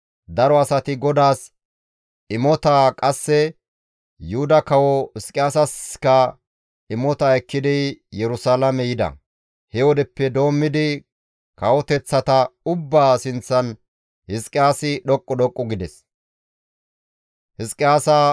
Daro asati GODAAS imotaa qasse Yuhuda kawo Hizqiyaasasikka imota ekkidi Yerusalaame yida; he wodeppe doommidi kawoteththata ubbaa sinththan Hizqiyaasi dhoqqu dhoqqu gides.